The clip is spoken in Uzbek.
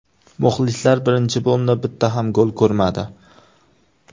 Muxlislar birinchi bo‘limda bitta ham gol ko‘rmadi.